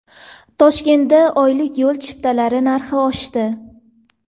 Toshkentda oylik yo‘l chiptalari narxi oshdi.